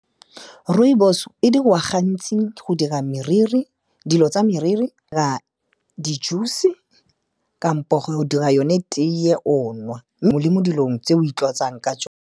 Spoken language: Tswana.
Rooibos-o e diriwa gantsi go dira meriri, dilo tsa meriri, di-juice-e kampo go dira yone teye o nwa, le mo dilong tse o itlotsang ka .